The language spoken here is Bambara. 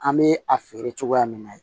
An bɛ a feere cogoya min na